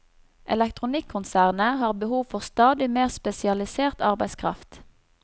Elektronikkonsernet har behov for stadig mer spesialisert arbeidskraft.